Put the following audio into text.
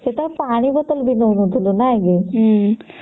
ସେତେବେଳେ ପାଣି ବୋତଲ ବି ନଉ ନଥିଲେ ନାଇଁ କି